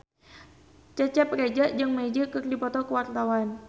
Cecep Reza jeung Magic keur dipoto ku wartawan